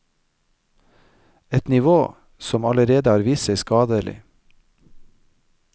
Et nivå som allerede har vist seg skadelig.